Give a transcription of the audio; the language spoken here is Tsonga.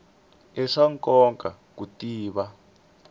i swa nkoka ku tiva